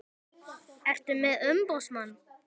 Ertu með umboðsmann?